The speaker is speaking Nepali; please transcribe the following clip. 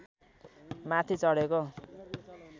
माथि चढेको